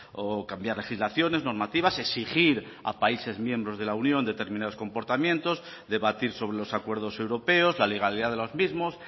o cambiar legislaciones normativas exigir a países miembros de la unión determinados comportamientos debatir sobre los acuerdos europeos la legalidad de los mismos